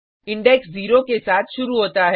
index 0के साथ शुरु होता है